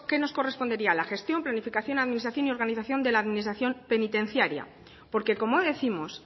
nos correspondería la gestión planificación administración y organización de la administración penitenciaria porque como décimos